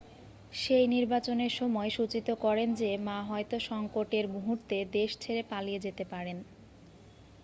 শেই নির্বাচনের সময় সূচিত করেন যে মা হয়তো সংকট-এর মুহূর্তে দেশ ছেড়ে পালিয়ে যেতে পারেন